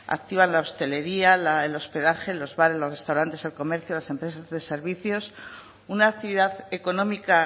activa la hostelería el hospedaje los bares los restaurantes el comercio las empresas de servicios una actividad económica